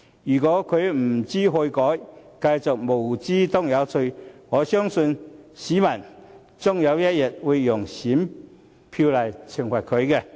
如果他不知悔改，繼續"無知當有趣"，我相信市民終有一天會用選票懲罰他。